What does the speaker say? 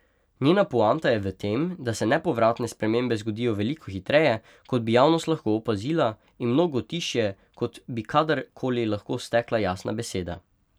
Njena poanta je v tem, da se nepovratne spremembe zgodijo veliko hitreje, kot bi javnost lahko opazila, in mnogo tišje, kot bi kadar koli lahko stekla jasna beseda.